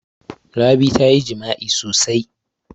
Rabi ta yi jima'i sosai.